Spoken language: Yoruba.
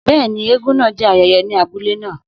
Bẹ́ẹ̀ni, eégún náà jẹ́ ayẹyẹ ayẹyẹ ní abúlé náà.